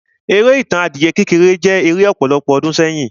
Eré Ìtàn adìyẹ kékeré jẹ́ eré ọ̀pọ̀lọpọ̀ ọdún sẹ́yìn.